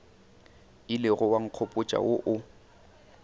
ilego wa nkgopotša wo o